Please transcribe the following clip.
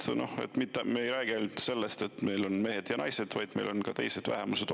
Ühesõnaga, me ei räägi ainult sellest, et meil on mehed ja naised, vaid meil on ka teised vähemused.